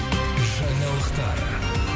жаңалықтар